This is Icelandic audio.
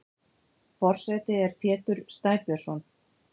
Forseti er Pétur Snæbjörnsson.